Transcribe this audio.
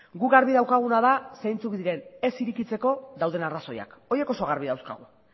guk garbi daukaguna da zeintzuk diren ez irekitzeko dauden arrazoiak horiek oso garbi dauzkagu